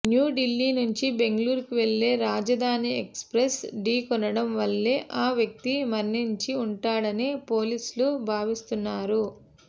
న్యూఢిల్లీ నుంచి బెంగళూరు వెళ్లే Rajdhani express ఢీకొనడం వల్లే ఆ వ్యక్తి మరణించి ఉంటాడని పోలీసులు భావిస్తున్నారు